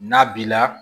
N'a b'i la